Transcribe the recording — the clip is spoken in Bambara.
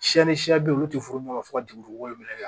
Siyɛn ni siɲɛ bɛ yen olu tɛ furu ɲɔgɔn ma fɔ ka jigin dugukolo minɛ la